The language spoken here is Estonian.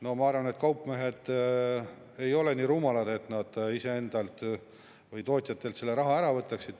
No ma arvan, et kaupmehed ei ole nii rumalad, et nad iseendalt või tootjatelt selle raha ära võtaksid.